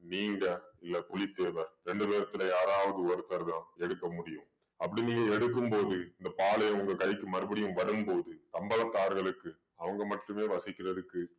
நீங்க இல்லை புலித்தேவர் ரெண்டு பேத்துல யாராவது ஒருத்தர்தான் எடுக்க முடியும் அப்படி நீங்க எடுக்கும்போது இந்த பாளையம் உங்க கைக்கு மறுபடியும் வரும்போது சம்பளத்தார்களுக்கு அவங்க மட்டுமே வசிக்கிறதுக்கு